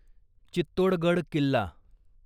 Chittorgarh Killa